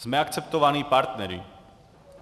Jsme akceptovaní partneři.